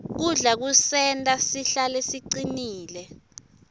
kudla kusenta sihlale sicinile